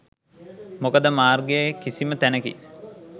මොකද මාර්ගයේ කිසිම තැනකින්